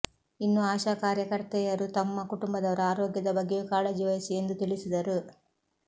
ಇನ್ನು ಆಶಾ ಕಾರ್ಯಕರ್ತೆಯರು ತಮ್ಮ ಕುಟುಂಬದವರ ಆರೋಗ್ಯದ ಬಗ್ಗೆಯೂ ಕಾಳಜಿ ವಹಿಸಿ ಎಂದು ತಿಳಿಸಿದರು